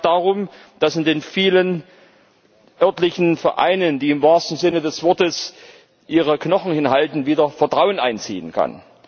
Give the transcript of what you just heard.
Es geht auch darum, dass in den vielen örtlichen Vereinen, die im wahrsten Sinne des Wortes ihre Knochen hinhalten, wieder Vertrauen einziehen kann.